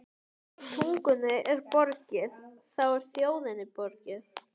Ef tungunni er borgið, þá er þjóðinni borgið.